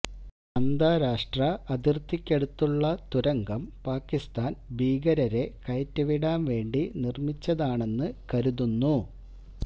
അന്താരാഷ്ട്ര അതിര്ത്തക്കടുത്തുള്ള തുരങ്കം പാക്കിസ്ഥാന് ഭീകരരെ കയറ്റിവിടാന് വേണ്ടി നിര്മ്മിച്ചതാണെന്ന് കരുതുന്നു